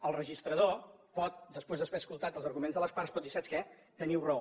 el registrador pot després d’haver escoltat els arguments de les parts dir saps què teniu raó